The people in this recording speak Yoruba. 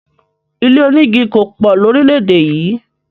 Ilé omígi kòpò lóríléédè yì